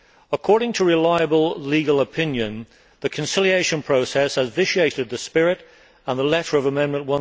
According to reliable legal opinion, the conciliation process has vitiated the spirit and the letter of Amendment